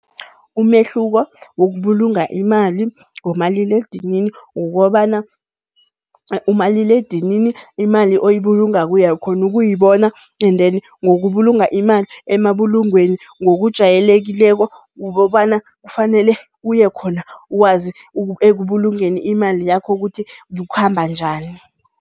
Umehluko wokubulunga imali ngomaliledinini ukobana, umaliledinini imali oyibulungako uyakhona ukuyibona and then ngokubulunga imali emabulungweni ngokujayelekileko ukobana kufanele uye khona. Ukwazi ekubulungeni imali yakho kuthi kukhamba njani.